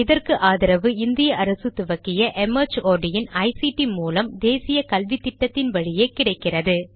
இதற்கு ஆதரவு இந்திய அரசு துவக்கிய ictமார்ட் மூலம் தேசிய கல்வித்திட்டத்தின் வழியே கிடைக்கிறது